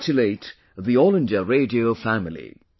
I congratulate the All India Radio family